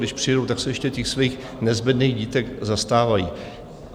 Když přijedou, tak se ještě těch svých nezbedných dítek zastávají.